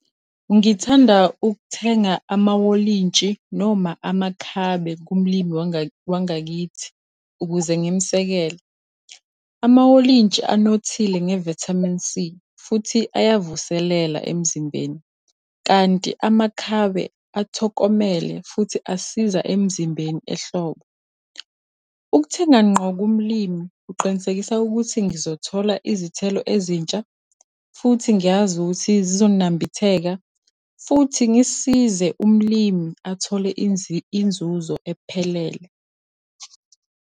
Ngithanda ukuthenga amawolintshi noma amakhabe kumlimi wangakithi, ukuze ngimusekele. Amawolintshi anothile nge-vitamin C, futhi ayavuselela emzimbeni, kanti amakhabe athokomele futhi asiza emzimbeni ehlobo. Ukuthenga ngqo kumlimi, kuqinisekisa ukuthi ngizothola izithelo ezintsha, futhi ngiyazi ukuthi zizonambitheka, futhi ngisize umlimi athole inzuzo ephelele.